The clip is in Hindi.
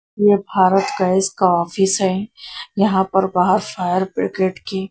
यह भारत गैस का ऑफिस है यहां पर बाहर फायर ब्रिगेड की--